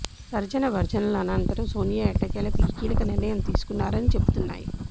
తర్జన భర్జనల అనంతరం సోనియా ఎట్టకేలకు ఈ కీలక నిర్ణయం తీసుకున్నారని చెబుతున్నాయి